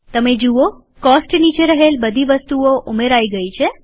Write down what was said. તમે જુઓ કોસ્ટ નીચે રહેલ બધી વસ્તુઓ ઉમેરાયેલ ગયી છે